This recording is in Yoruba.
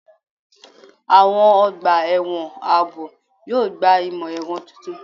Àwọn ọgbà ẹ̀wọ̀n ààbò yóò gba imọ-ẹrọ tuntun